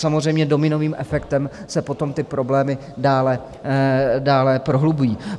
Samozřejmě dominovým efektem se potom ty problémy dále prohlubují.